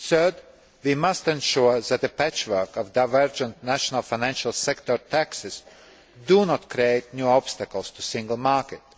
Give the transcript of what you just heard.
Thirdly, we must ensure that the patchwork of divergent national financial sector taxes does not create new obstacles to the single market.